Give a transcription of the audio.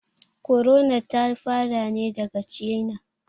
Korona ta fara ne daga China